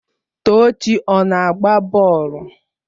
Tochi ọ na-agba bọọlụ?